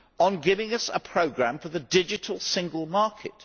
by giving us a programme for the digital single market?